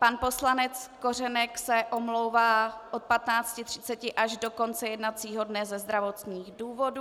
Pan poslanec Kořenek se omlouvá od 15.30 až do konce jednacího dne ze zdravotních důvodů.